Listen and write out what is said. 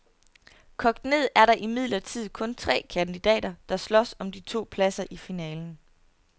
Kogt ned er der imidlertid kun tre kandidater, der slås om de to pladser i finalen.